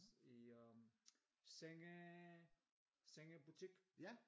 I øh senge sengebutik